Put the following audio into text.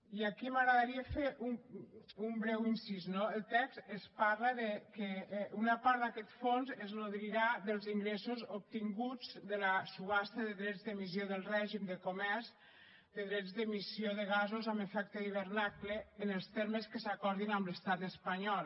i aquí m’agradaria fer un breu incís no al text es parla que una part d’aquest fons es nodrirà dels ingressos obtinguts de la subhasta de drets d’emissió del règim de comerç de drets d’emissió de gasos amb efecte d’hivernacle en els termes que s’acordin amb l’estat espanyol